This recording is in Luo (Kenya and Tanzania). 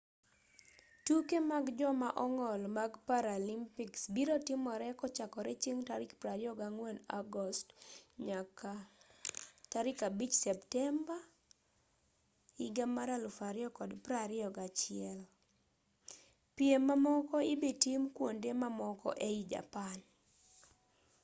tuke mag joma ong'ol mag paralympics biro timore kochakore chieng' tarik 24 agost nyaka 5 septemba 2021 pirm mamoko ibitim kuonde mamoko ei japan